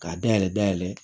K'a dayɛlɛ dayɛlɛ